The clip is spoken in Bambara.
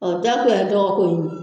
O dɔgɔko in ye